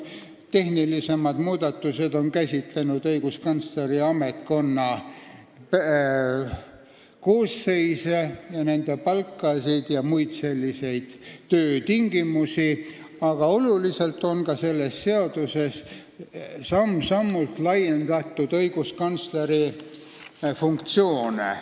Tehnilisemad muudatused on käsitlenud õiguskantsleri ametkonna koosseisu, nende palka ja töötingimusi, aga oluliselt on selles seaduses samm-sammult laiendatud ka õiguskantsleri funktsioone.